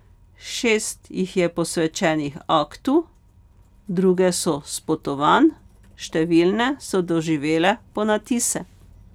Šest jih je posvečenih aktu, druge so s potovanj, številne so doživele ponatise.